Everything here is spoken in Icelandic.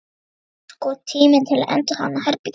Nú var sko tími til að endurhanna herbergið.